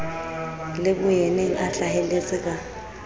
le boyeneng a hlaheletse ka